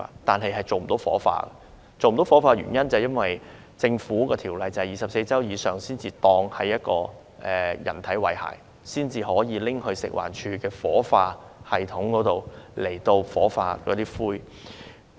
但是，嬰兒遺體不能火化，因為法例規定，受孕24周以上的胎兒才當為人，其遺骸才可以在食物環境衞生署的火化系統中火化。